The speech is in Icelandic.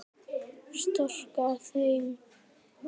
Storka þeim.